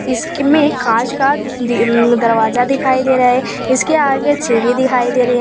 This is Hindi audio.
इस के में कांच का उम् दरवाजा दिखाई दे रहा है इसके आगे एक सीढ़ी दिखाई दे रही है।